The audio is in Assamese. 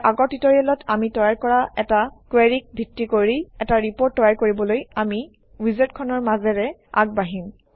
ইয়াৰ আগৰ ট্যুটৰিয়েলত আমি তৈয়াৰ কৰা এটা কুৱেৰিক ভিত্তি কৰি এটা ৰিপৰ্ট তৈয়াৰ কৰিবলৈ আমি উইজাৰ্ডখনৰ মাজেৰে আগবাঢ়িম